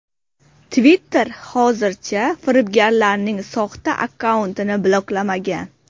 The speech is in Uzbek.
Twitter hozircha firibgarlarning soxta akkauntini bloklamagan.